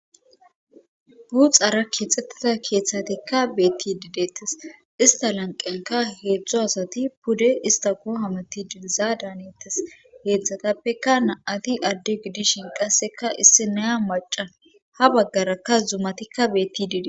buu xara keexxettida keeththatikka beetti didettes ista lanqenka heedzdzo asati pude ista koohamati diliza daanettes heedzdzhatappeka na7ati adde gidishin qasseka issi naya maca ha baggarakka zumatikka beetti dide